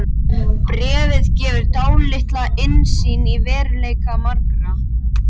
Bréfið gefur dálitla innsýn í veruleika margra.